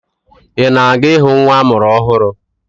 Ị na-aga ịhụ nwa amụrụ ọhụrụ?